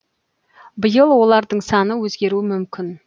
биыл олардың саны өзгеруі мүмкін